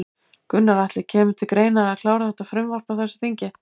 Gunnar Atli: Kemur til greina að klára þetta frumvarp á þessu þingi?